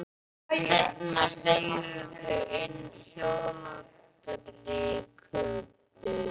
Seinna beygðu þau inn hljóðlátari götur.